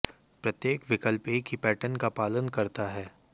प्रत्येक विकल्प एक ही पैटर्न का पालन करता है